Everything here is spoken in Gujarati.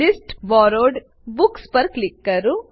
લિસ્ટ બોરોવ્ડ બુક્સ પર ક્લિક કરો